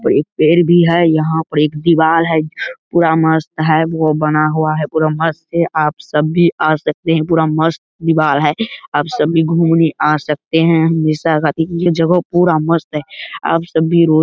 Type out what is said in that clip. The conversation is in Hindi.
और एक पेड़ भी है। यहाँ पर एक दीवाल है। पूरा मस्त है। वो बना हुआ है। पूरा मस्त है। आप सब भी आ सकते हैं। पूरा मस्त दीवाल है। आप सब भी घूमने आ सकते हैं। हमेशा ये जगह पूरा मस्त है। आप सब भी रोज --